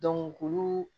k'olu